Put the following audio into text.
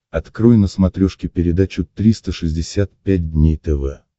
открой на смотрешке передачу триста шестьдесят пять дней тв